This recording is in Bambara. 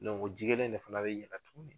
O ji kelen de fana bɛ yɛlɛ tuguni